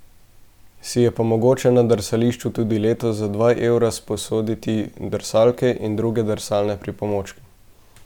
Si je pa mogoče na drsališču tudi letos za dva evra sposoditi drsalke in druge drsalne pripomočke.